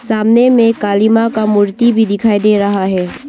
सामने में काली मां का मूर्ति भी दिखाई दे रहा है।